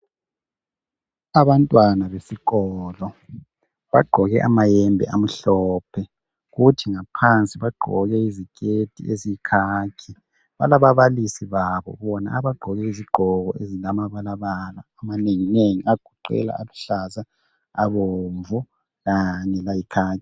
Abantwana besikolo bagqoke amayembe amhlophe kuthi ngaphansi bagqoke iziketi eziyikhakhi. Balabalisi babo bona abagqoke izigqoko ezilamabalabala amanenginengi egcwele aluhlaza, abomvu Kanye layikhakhi.